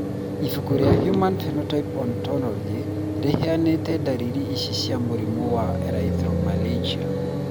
Ibuku rĩa Human Phenotype Ontology rĩheanĩte ndariri ici cia mũrimũ wa Erythromelalgia.